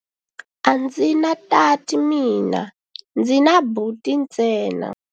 A ndzi na tati mina, ndzi na buti ntsena.